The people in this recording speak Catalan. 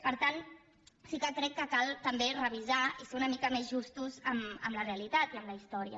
per tant sí que crec que cal també revisar i ser una mica més justos amb la realitat i amb la història